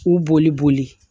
K'u boli boli